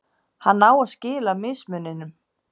hann á að skila mismuninum